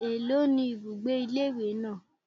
Èló ni ibùgbé ilé ìwé náà?